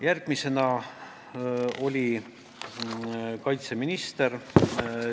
Järgmisena oli meie ees kaitseminister.